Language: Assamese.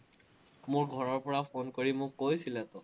মোৰ ঘৰৰপৰা ফোন কৰি মোক কৈছিলে,